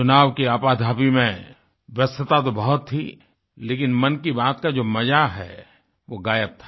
चुनाव की आपाधापी में व्यस्तता तो बहुत थी लेकिन मन की बातका जो मजा है वो गायब था